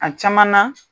A caman na